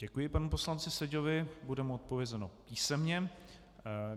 Děkuji panu poslanci Seďovi, bude mu odpovězeno písemně.